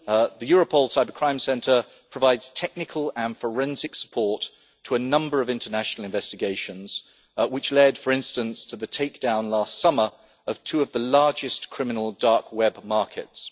The Europol Cyber crime centre provides technical and forensic support to a number of international investigations which have led, for instance, to the take down last summer of two of the largest criminal dark web markets.